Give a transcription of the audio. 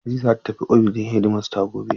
Hadiza zata tafi ofishin hedimasta gobe.